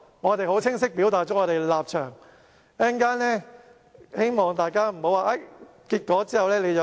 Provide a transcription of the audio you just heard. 我們很清晰表達了我們的立場，希望大家不要曲解稍後的結果。